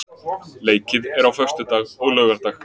Leikið er á föstudag og laugardag.